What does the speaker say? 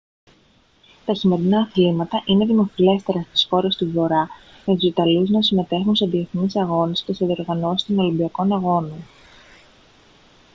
τα χειμερινά αθλήματα είναι δημοφιλέστερα στις χώρες του βορρά με τους ιταλούς να συμμετέχουν σε διεθνείς αγώνες και σε διοργανώσεις των ολυμπιακών αγώνων